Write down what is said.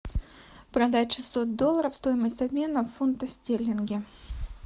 продать шестьсот долларов стоимость обмена в фунты стерлинги